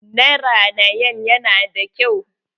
Naranayan nan yana da kyau.